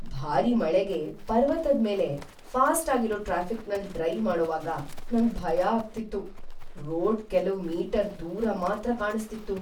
ಭಾರಿ ಮಳೆಗೆ ಪರ್ವತದ್ ಮೇಲೆ ಫಾಸ್ಟ್ ಆಗಿರೋ ಟ್ರಾಫಿಕ್ನಲ್ ಡ್ರೈವ್ ಮಾಡೋವಾಗ ನಂಗ್ ಭಯ ಆಗ್ತಿತ್ತು. ರೋಡ್ ಕೆಲವ್ ಮೀಟರ್ ದೂರ ಮಾತ್ರ ಕಾಣಿಸ್ತಿಸ್ತು.